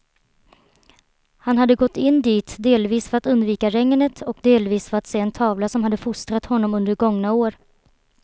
Han hade gått in dit delvis för att undvika regnet och delvis för att se en tavla som hade fostrat honom under gångna år.